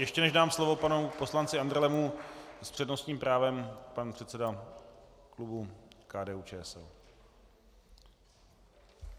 Ještě než dám slovo panu poslanci Andrlemu, s přednostním právem pan předseda klubu KDU-ČSL.